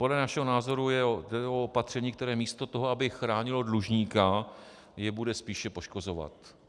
Podle našeho názoru jde o opatření, které místo toho, aby chránilo dlužníka, jej bude spíše poškozovat.